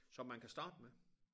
Som man kan starte med